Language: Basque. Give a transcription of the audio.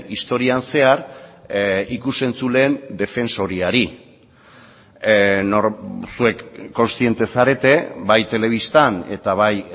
historian zehar ikus entzuleen defensoriari zuek kontziente zarete bai telebistan eta bai